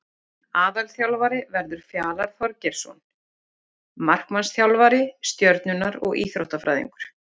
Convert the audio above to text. Aðalþjálfari verður Fjalar Þorgeirsson markmannsþjálfari Stjörnunnar og Íþróttafræðingur.